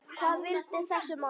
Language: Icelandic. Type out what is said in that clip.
Hvað vildi þessi maður?